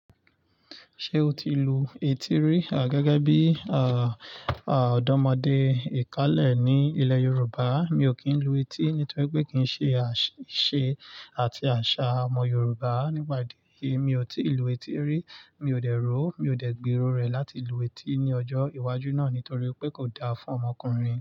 Ṣé o ti lu etí rí? À, gẹ́gẹ́ bí, à, à, ọ̀dọ́mọdé ìkálẹ̀ ní ilẹ̀ Yorùbá, mi ò kí ń lu etí nítorí pé kì í ṣe àṣ-ṣe àti àṣà ọmọ Yorùbá. Nípa ìdí èyí, mi ò tí lu etí rí, mi ò dẹ ro, mi ò dẹ gbẹ ro rẹ̀ láti lu etí ní ọjọ́ iwájú náà nítorí pé kò da fún ọmọkùnrin.